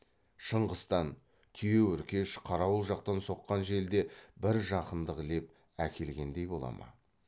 шыңғыстан түйеөркеш қарауыл жақтан соққан жел де бір жақындық леп әкелгендей бола ма